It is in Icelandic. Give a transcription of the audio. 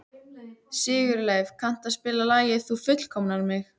Sigurleif, kanntu að spila lagið „Þú fullkomnar mig“?